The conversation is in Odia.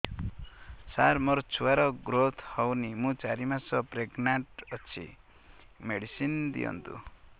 ସାର ମୋର ଛୁଆ ର ଗ୍ରୋଥ ହଉନି ମୁ ଚାରି ମାସ ପ୍ରେଗନାଂଟ ଅଛି ମେଡିସିନ ଦିଅନ୍ତୁ